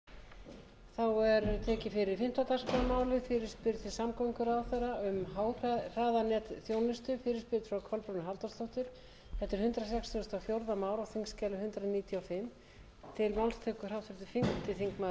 kolbrún frá byrjun hæstvirtur forseti ég ber hér upp fyrirspurn til hæstvirts samgönguráðherra eins og komið hefur fram varðandi háhraðanetsþjónustuna og langar til að fá